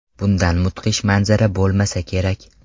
Bundan mudhish manzara bo‘lmasa kerak...